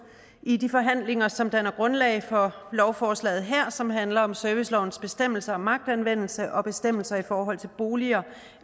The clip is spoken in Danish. i de forhandlinger som danner grundlag for lovforslaget her som handler om servicelovens bestemmelser om magtanvendelse og bestemmelser i forhold til boliger